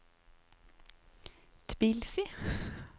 Tbilisi